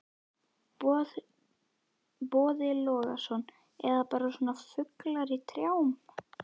Boði Logason: Eða bara svona fuglar í trjám?